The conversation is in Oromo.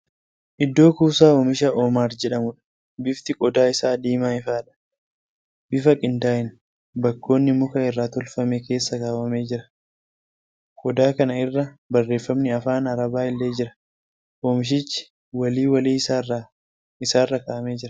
Iddoo Kuusaa oomisha Omaar jedhamuudha. Bifti qodaa isaa diimaa ifaadha. Bifa qindaa'een baakkoonii muka irraa tolfame keessa kaawwamee jira. Qodaa kana irra barreefami Afaan Arabaa illee jira. Oomishichi walii walii isaarra kakaa'amee jira.